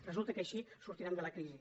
resulta que així sortirem de la crisi